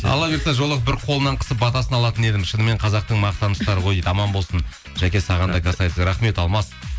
алла бұйыртса жолығып бір қолынан қысып батасын алатын едім шынымен қазақтың мақтан тұтары ғой дейді аман болсын жаке саған да касается рахмет алмас